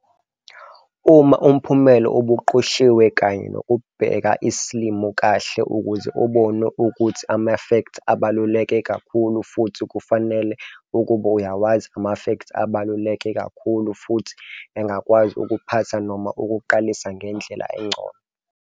Uma umphumela ubuqoshiwe kanye nokubheka isilimo kahle ukuze ubone ukuthi amafektha abaluleke kakhulu futhi kufanele ukuba uyawazi amafektha abebaluleke kakhulu futhi engakwazi ukuphatha noma ukuqalisa ngendlela engcono.